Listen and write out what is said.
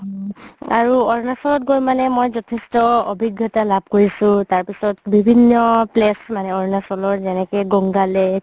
আৰু অৰুণাচলত গৈ মানে মই যথেষ্ট অভিজ্ঞতা লাভ কৰিছো তাৰ পিছত বিভিন্ন place মানে অৰুণাচলৰ যেনেকে গংগা lake